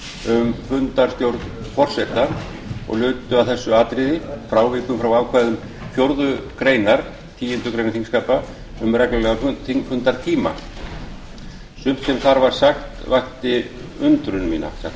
um fundarstjórn forseta og lutu að þessu atriði frávikum frá ákvæðum fjórðu málsgreinar tíundu greinar þingskapa um reglulega þingfundartíma sumt sem þar var sagt vakti undrun mína satt að segja